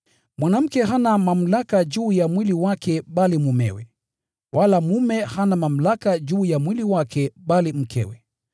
Mwanamke hana mamlaka juu ya mwili wake bali mumewe, wala mume hana mamlaka juu ya mwili wake bali mkewe.